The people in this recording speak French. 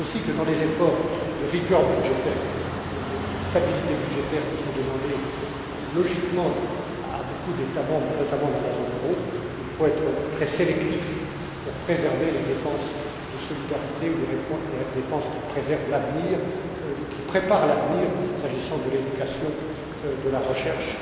Je pense aussi que dans les efforts de rigueur budgétaire et de stabilité budgétaire, qui sont demandés logiquement à beaucoup d'États membres, notamment dans la zone euro, il faut être très sélectif pour préserver les dépenses de solidarité ou les dépenses qui préservent ou qui préparent l'avenir, s'agissant de l'éducation et de la recherche,